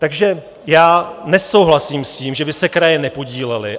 Takže já nesouhlasím s tím, že by se kraje nepodílely.